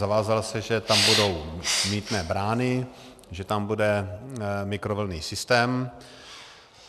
Zavázal se, že tam budou mýtné brány, že tam bude mikrovlnný systém.